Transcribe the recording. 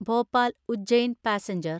Bhopal Ujjain passenger